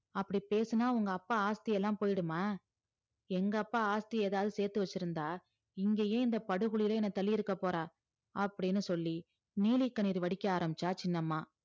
அப்டி பேசுனா உங்க அப்பா ஆஷ்த்தி எல்லா போய்டுமா எங்கப்பா ஆஷ்த்தி ஏதாது செத்துவச்சிருந்தா இங்க ஏன் இந்த படுகுழில தள்ளிருக்க போறா அப்டின்னு சொல்லி நீலி கண்ணீர் வடிக்க ஆரம்பிச்சா சின்னம்மா